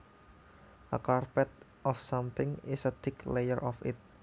A carpet of something is a thick layer of it